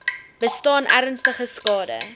bestaan ernstige skade